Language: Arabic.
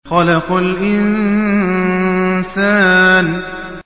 خَلَقَ الْإِنسَانَ